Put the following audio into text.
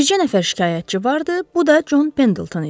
Bircə nəfər şikayətçi vardı, bu da Con Pendelton idi.